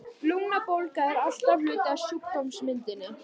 Lungnabólga er alltaf hluti af sjúkdómsmyndinni.